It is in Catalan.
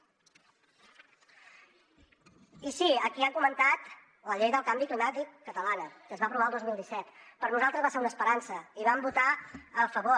i sí aquí ha comentat la llei del canvi climàtic catalana que es va aprovar el dos mil disset per nosaltres va ser una esperança i hi vam votar a favor